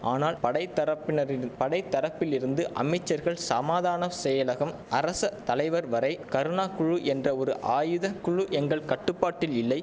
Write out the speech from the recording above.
ஆனால் படைத்தரப்பினரிடு படைத்தரப்பிலிருந்து அமைச்சர்கள் சமாதான செயலகம் அரச தலைவர் வரை கருணா குழு என்ற ஒரு ஆயுத குழு எங்கள் கட்டுப்பாட்டில் இல்லை